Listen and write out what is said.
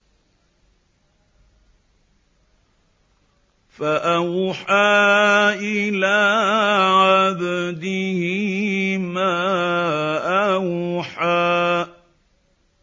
فَأَوْحَىٰ إِلَىٰ عَبْدِهِ مَا أَوْحَىٰ